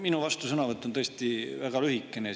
Minu vastusõnavõtt on tõesti väga lühikene.